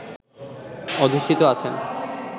অধিষ্ঠিত আছেন